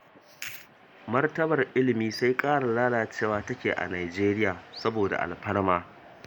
Martabar ilimi sai ƙara lalacewa take a Nijeriya saboda alfarma